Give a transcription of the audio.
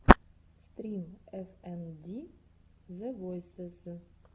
стрим эф энд ди зэ войсез